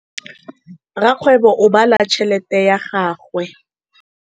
Rakgwêbô o bala tšheletê ya gagwe.